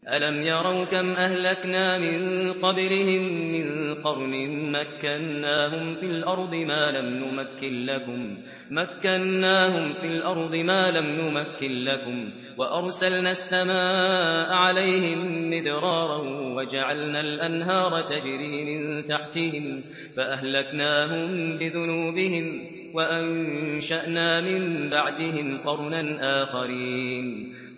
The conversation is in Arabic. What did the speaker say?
أَلَمْ يَرَوْا كَمْ أَهْلَكْنَا مِن قَبْلِهِم مِّن قَرْنٍ مَّكَّنَّاهُمْ فِي الْأَرْضِ مَا لَمْ نُمَكِّن لَّكُمْ وَأَرْسَلْنَا السَّمَاءَ عَلَيْهِم مِّدْرَارًا وَجَعَلْنَا الْأَنْهَارَ تَجْرِي مِن تَحْتِهِمْ فَأَهْلَكْنَاهُم بِذُنُوبِهِمْ وَأَنشَأْنَا مِن بَعْدِهِمْ قَرْنًا آخَرِينَ